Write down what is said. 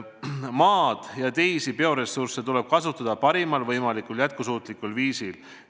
Maad ja teisi bioressursse tuleb kasutada parimal võimalikul jätkusuutlikul viisil.